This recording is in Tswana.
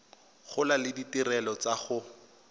gola le ditirelo tsa go